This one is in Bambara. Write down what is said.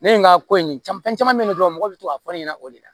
Ne ye n ka ko in jamu fɛn caman bɛ yen dɔrɔn mɔgɔw bɛ to k'a fɔ ne ɲɛna o de la